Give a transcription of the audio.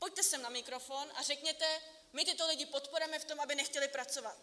Pojďte sem na mikrofon a řekněte: My tyto lidi podporujeme v tom, aby nechtěli pracovat.